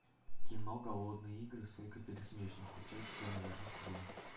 кино голодные игры сойка пересмешница часть первая открой